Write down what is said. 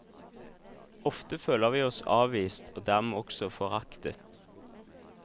Ofte føler vi oss avvist og dermed også foraktet.